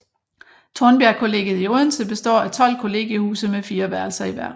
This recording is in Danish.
Tornbjergkollegiet i Odense består af 12 kollegiehuse med fire værelser i hver